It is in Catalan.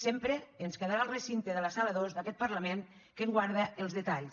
sempre ens quedarà el recinte de la sala dos d’aquest parlament que en guarda els detalls